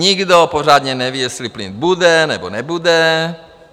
Nikdo pořádně neví, jestli plyn bude nebo nebude.